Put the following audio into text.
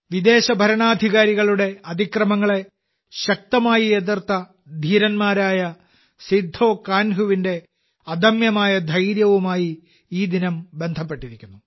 വിദേശ ഭരണാധികാരികളുടെ അതിക്രമങ്ങളെ ശക്തമായി എതിർത്ത ധീരനായ സിദ്ധോ കാൻഹുവിന്റെ അദമ്യമായ ധൈര്യവുമായി ഈ ദിനം ബന്ധപ്പെട്ടിരിക്കുന്നു